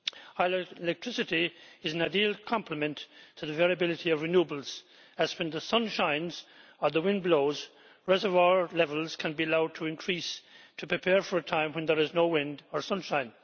Hydroelectricity is an ideal complement to the variability of renewables, as when the sun shines or the wind blows reservoir levels can be allowed to increase to prepare for a time when there is no wind or sunshine.